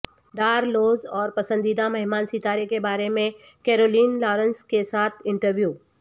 Dar rules اور پسندیدہ مہمان ستارے کے بارے میں کیرولین لارنس کے ساتھ انٹرویو